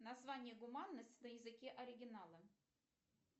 название гуманность на языке оригинала